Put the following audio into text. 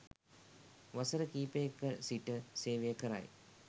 වසර කිහිපයක සිට සේවය කරයි.